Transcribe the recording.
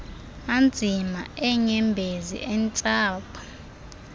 anzima eenyembezi intsapho